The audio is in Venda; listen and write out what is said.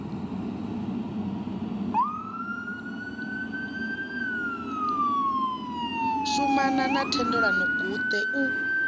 shumana na thendelano guṱe u